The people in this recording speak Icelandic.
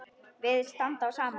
Virðist standa á sama.